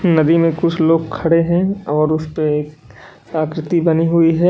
नदी में कुछ लोग खड़े हैं और उस पे आकृति बनी हुई है।